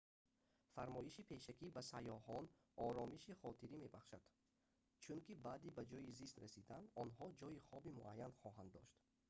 фармоиши пешакӣ ба саёҳон оромиши хотирӣ мебахшад чунки баъди ба ҷойи зист расидан онҳо ҷойи хоби муайян хоҳанд дошт